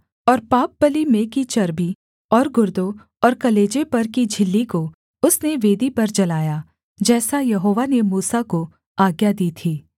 और पापबलि में की चर्बी और गुर्दों और कलेजे पर की झिल्ली को उसने वेदी पर जलाया जैसा यहोवा ने मूसा को आज्ञा दी थी